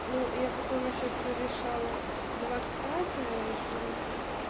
ну я потом ещё прорешала двадцатое решила